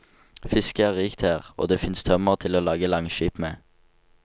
Fisket er rikt her, og det fins tømmer til å lage langskip med.